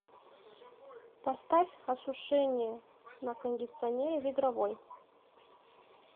поставь осушение на кондиционере в игровой